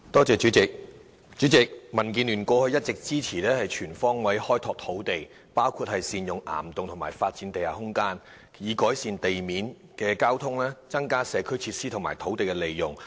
主席，民建聯過去一直支持當局全方位開拓土地，包括善用岩洞及發展地下空間，以改善地面交通、增加社區設施和善用土地。